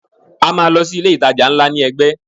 A máa lọ sí ilé ìtajà ńlá náà ní ẹgbẹ́.